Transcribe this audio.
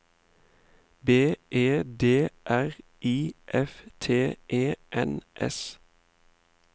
B E D R I F T E N S